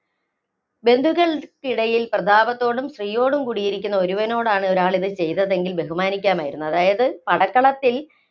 ബന്ധുക്കള്‍ക്കിടയില്‍ പ്രതാപത്തോടും, ശ്രീയോടും കൂടിയിരിക്കുന്ന ഒരുവനോടാണ് ഒരാള്‍ ഇത് ചെയ്തതെങ്കില്‍ ബഹുമാനിക്കാമായിരുന്നു. അതായത് പടക്കളത്തില്‍